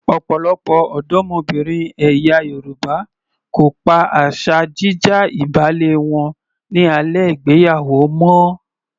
Ọ̀pọ̀lọpọ̀ ọ̀dọ́mọbìnrin ẹ̀yà Yorùbá kò pa asa jí já ìbálé wọn ní alẹ́ ìgbéyàwó mọ́.